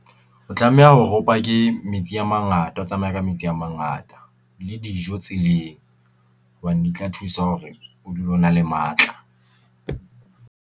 O tlameha hore pake ke metsi a mangata, o tsamaye ka metsi a mangata le dijo tseleng. Hobane di tla thusa hore o dule o na le matla.